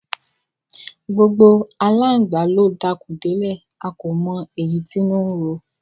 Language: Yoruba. Gbogbo aláǹgbà ló dakùn délẹ̀, a kò mọ èyí tínú ń ro.